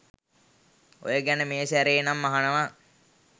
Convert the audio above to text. ඔය ගැන මේ සැරේ නම් අහනවා.